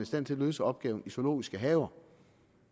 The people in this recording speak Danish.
stand til at løse opgaven i zoologiske haver